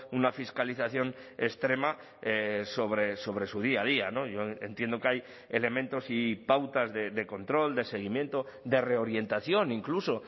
una fiscalización extrema sobre sobre su día a día yo entiendo que hay elementos y pautas de control de seguimiento de reorientación incluso